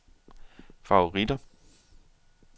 favoritter